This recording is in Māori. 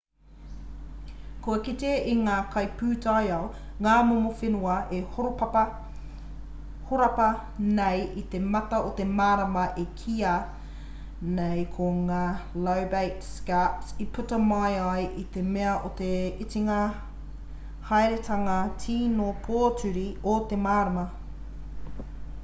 kua kitea e ngā kaipūtaiao ngā momo whenua e horapa nei i te mata o te marama e kīa nei ko ngā lobate scarps i puta mai ai i te mea o te itinga haeretanga tīno pōturi o te marama